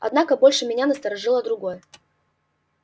однако больше меня насторожило другое